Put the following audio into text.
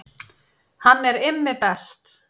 Hann er Immi best